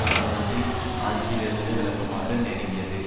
இராணுவத்தை ஆட்சியிலிருந்து விலகுமாறு நெருங்கியது